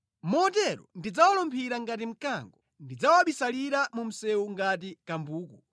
Motero ndidzawalumphira ngati mkango, ndidzawabisalira mu msewu ngati kambuku.